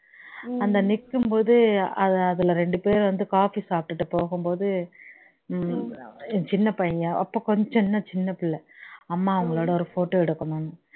அந்த நிக்குபோது அது அதுல இரண்டு பேர் வந்து coffee சாப்பிட்டுட்டு போகும் போது உம் சின்ன பையன் அப்போ கொஞ்சம் சின்ன சின்ன புள்ள அம்மா அவங்களோட ஒரு photo எடுக்கணும்னு